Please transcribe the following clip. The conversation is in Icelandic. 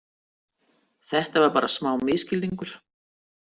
Þetta var bara smá misskilningur.